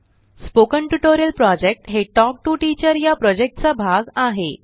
spoken tutorial project हे talk to teacher चा भाग आहे